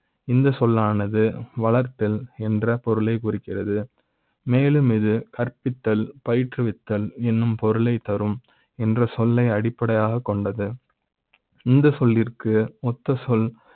இந்த சொல்லானது வளர்த்த ல் என்ற பொருளை க் குறிக்கிறது மேலும் இது கற்பித்த ல் பயிற்ற்றுவித்தல் என்னும் பொருளை த் தரும் என்ற சொல்லை அடிப்படையாக கொண்டது இந்த சொல்லிர்க்கு மொத்த சொல்